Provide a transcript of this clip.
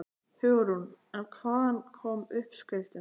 Hugrún: En hvaðan koma uppskriftirnar?